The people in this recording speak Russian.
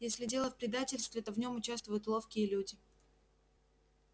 если дело в предательстве то в нём участвуют ловкие люди